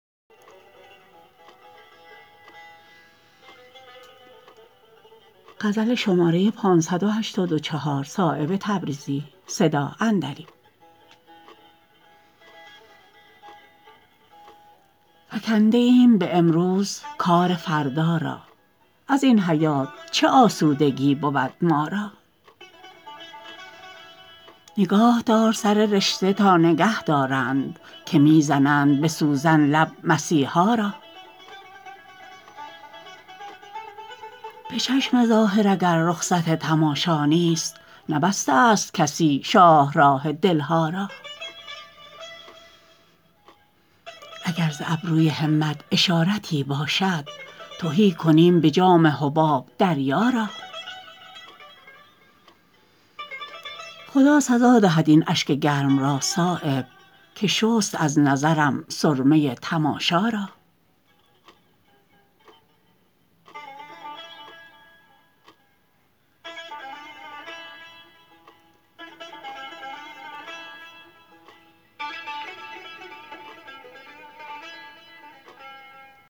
فکنده ایم به امروز کار فردا را ازین حیات چه آسودگی بود ما را نگاه دار سر رشته تا نگه دارند که می زنند به سوزن لب مسیحا را به چشم ظاهر اگر رخصت تماشا نیست نبسته است کسی شاهراه دلها را اگر ز ابروی همت اشارتی باشد تهی کنیم به جام حباب دریا را خدا سزا دهد این اشک گرم را صایب که شست از نظرم سرمه تماشا را